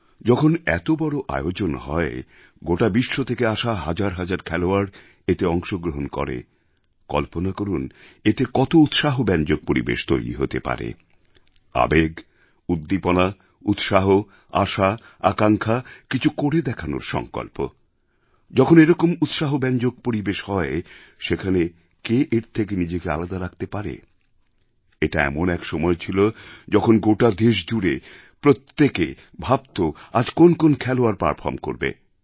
যখন এতবড় আয়োজন হয় গোটা বিশ্ব থেকে আসা হাজার হাজার খেলোয়াড় এতে অংশগ্রহণ করে কল্পনা করুন এতে কত উৎসাহব্যঞ্জক পরিবেশ তৈরি হতে পারে আবেগ উদ্দীপনা উৎসাহ আশা আকাঙ্ক্ষা কিছু করে দেখানোর সঙ্কল্প যখন এরকম উৎসাহব্যঞ্জক পরিবেশ হয় সেখানে কে এর থেকে নিজেকে আলাদা রাখতে পারে এটা এমন এক সময় ছিল যখন গোটা দেশ জুড়ে প্রত্যেকে ভাবত আজ কোন কোন খেলোয়াড় পারফর্ম করবে